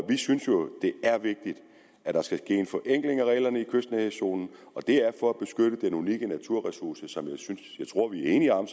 i vi synes jo det er vigtigt at der sker en forenkling af reglerne kystnærhedszonen og det er for at beskytte den unikke naturressource som jeg tror vi er enige om